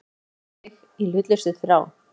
Hann horfir á mig í hlutlausri þrá.